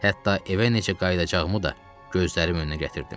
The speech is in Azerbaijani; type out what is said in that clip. Hətta evə necə qayıdacağımı da gözlərimin önünə gətirdim.